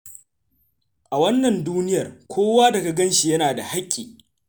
A wannan duniyar, kowa da ka gan shi, yana da hakki.